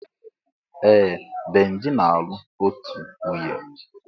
Ee! Benji na-alụ otù nwunye.